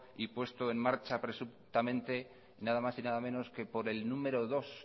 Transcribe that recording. y puesto en marcha presuntamente nada más y nada menos que por el número dos